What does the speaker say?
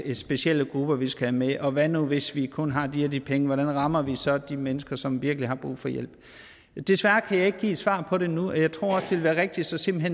er specielle grupper vi skal have med og hvad nu hvis vi kun har de og de penge hvordan rammer vi så de mennesker som virkelig har brug for hjælp desværre kan jeg ikke give et svar på det nu og jeg tror også det vil være rigtigst simpelt